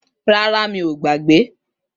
Rárá, mi ọ gbagbe.